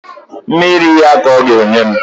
Mmiri ya ka ọ ga-enye m